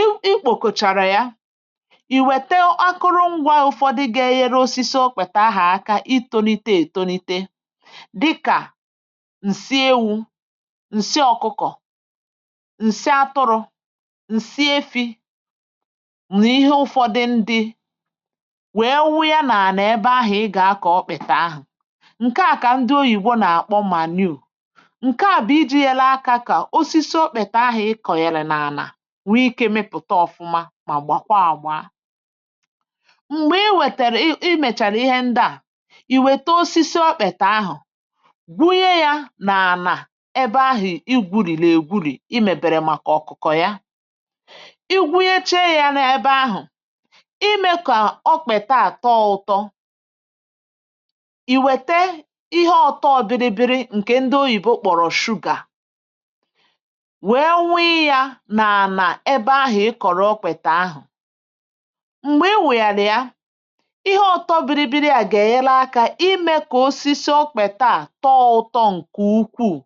i ikpòkòchàrà ya i wète akụrụngwa ụ̇fọdị ga-ehėrė osisi okpèta ahà aka itȯnite ètonite dịkà ǹsi ewu ǹsi ọ̇kụkọ̀ ǹsi atụrụ̇ ǹsi efi̇ nà ihe ụ̇fọdụ ndị wee wu ya nà-àna ebe ahụ̀ ị gà-akọ̀ ọkpị̀ta ahụ̀ ǹke à kà ndị oyìbo nà-àkpọ manure nwee ikė mịpụ̀ta ọ̀fụma mà gbàkwa àgba um m̀gbè i wètèrè i i mèchàrà ihe ndị à ìwète osisi okpètè ahụ̀ gwunye yȧ n’ànà ebe ahụ̀ igwùrì n’ègwùrì imèbèrè màkà ọ̀kụ̀kọ̀ ya i gwunyeche ya n’ebe ahụ̀ imė kà o kpèta àtọ ụtọ ìwète ihe ọtọ biri biri ǹkè ndị oyìbo kpọ̀rọ̀ sugar ebe ahụ̀ i kọ̀rọ okpètè ahụ̀ m̀gbè i wèyàrà ya ihe ọ̀tọ biribiri à gà-ènyela akȧ imė kà osisi okpèta à tọọ ụtọ ǹkè ukwuù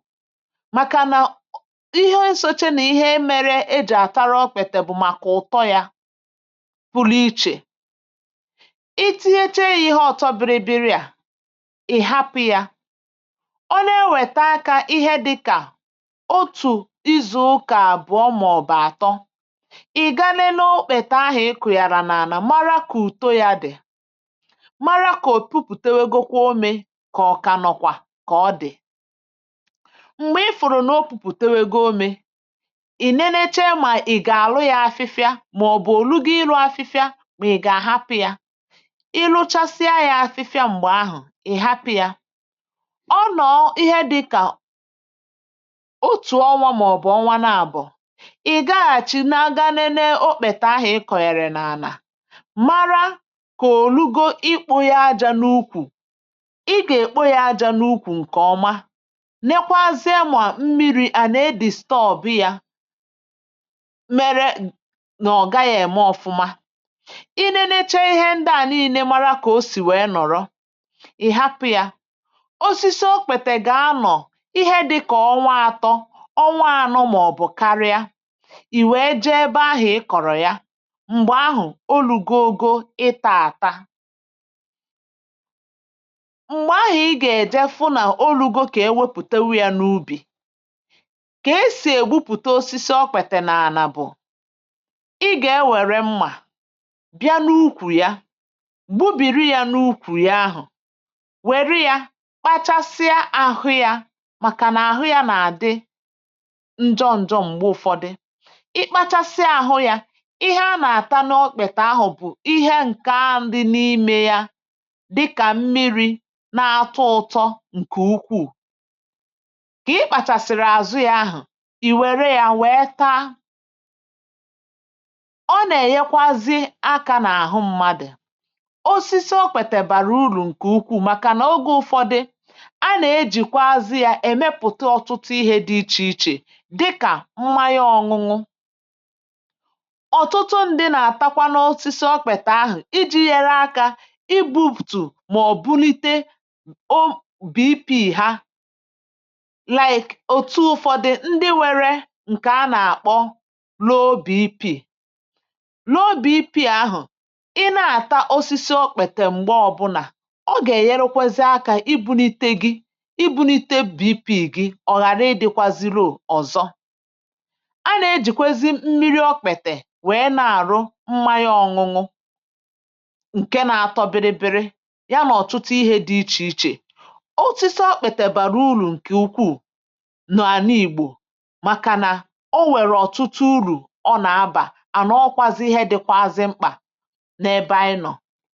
màkànà ihe nsoche nà ihe imėrė ejì àtara okpètè bụ̀ màkà ụ̀tọ yȧ pụlụ ichè i tighėchė yȧ ihe ọ̀tọ biribiri à ị̀ hapụ̇ yȧ one e wèta akȧ ihe dị kà ị̀ gaa n’okpètà ahụ̀ ị kụ̀gàrà n’ànà mara kò ùto ya dị̀ mara kà ò pupùtewego kwa omė kà ọ̀ kà nọ̀kwà kà ọ dị̀ m̀gbè ifụ̀rụ̀ nà o pupùtewego omė ì neneche mà ì gà-àrụ ya afịfịa màọ̀bụ̀ ò lugo ilu afịfịa mà ì gà-àhapụ̇ ya iluchasịa ya afịfịa m̀gbè ahụ̀ ì hapụ̀ ya ọ nọọ ihe dịkà ì gaghàchi na-aga nene okpèta ahà ị kọ̀nyèrè nà ànà mara kà olugo ikpȯ ya aja n’ukwù ị gà-èkpụ ya aja n’ukwù ǹkè ọma nekwa azụ ẹmà mmiri̇ à nà edìstọ ọ̀bị yȧ mẹrẹ nà ọ̀ gaghị̇ ème ọfụma i nenẹcha ihe ndị à niile mara kà o sì wèe nọ̀rọ ị̀ hapụ̇ yȧ osisi okpètètè gà anọ̀ ihe dịkà ọnwa atọ ì wèe je ebe ahụ̀ ị kọ̀rọ̀ ya m̀gbè ahụ̀ olugo ȯgo ị̇tȧ àta ị kpachasịa ahụ ya ihe a nà-àta n’ọkpị̀tè ahụ̀ bụ̀ ihe ǹkaa ndị n’imė ya dịkà mmiri̇ na-atọ ụtọ ǹkè ukwù kà ị kpàchàsị̀rị̀ àzụ ya ahụ̀ ì wère ya nwèe taa ọ nà-ènyekwazi akȧ n’àhụ mmadụ̀ osisi okpètè bàrà urù ǹkè ukwù màkà n’ogė ụ̇fọdị a nà-ejìkwa azụ ya èmepùte ọtụtụ ihe dị ichè ichè ọ̀tụtụ ndị nà-àtakwa n’osisi ọ kpèta ahụ̀ iji̇ yere akȧ igbu̇pùtù mà ọ̀bụlite obi̇pì ha like òtù ụ̀fọdị ndị nwėrė ǹkè a nà-àkpọ n’obì peeling n’obì peeling ahụ̀ i na-àta osisi okpètè m̀gbè ọbụ̀là ọ gà-ènyerekwézi akȧ ibu̇nite gị ibu̇nite beepị̀ gị ọ̀ghàra ị dị̇kwazịrị òzọ a na-ejikwezi m nmiri okpètè wee na-arụ wine ọṅụṅụ ǹke na-atọ biri biri ya na ọtụtụ ihė dị ichè ichè otisiọ kpètè bara uru ǹkè ukwuù n’àna ìgbò màkànà ọ were ọ̀tụtụ uru ọ na-abà à na ọkwazị ihe dịkwazị mkpà n’ebe anyị nọ̀